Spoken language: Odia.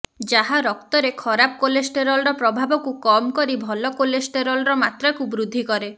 ଯାହା ରକ୍ତରେ ଖରାପ କୋଲେଷ୍ଟେରୋଲର ପ୍ରଭାବକୁ କମ କରି ଭଲ କୋଲେଷ୍ଟେରୋଲର ମାତ୍ରାକୁ ବୃଦ୍ଧି କରେ